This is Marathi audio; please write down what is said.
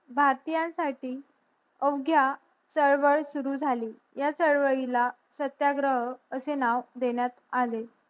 भारतीयांन साठी अवघ्या चळवळ सुरु जाली या कळवळी ला सत्याग्रह असे नाव देण्यात आले